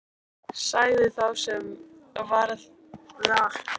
Sagði þá sá sem eftir varð af sjálfum sér: Hæstvirtur dómur, ærukær forseti hans!